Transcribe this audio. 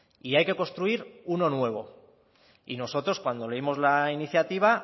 y hay que construir uno nuevo nosotros cuando leímos la iniciativa